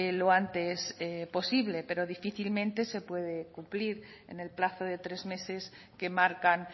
lo antes posible pero difícilmente se puede cumplir en el plazo de tres meses que marcan